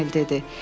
Emil dedi.